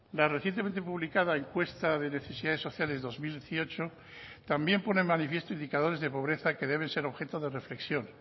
la recientemente publicada encuesta de necesidades sociales dos mil dieciocho también pone en manifiesto indicadores de pobreza que deben ser objeto de reflexión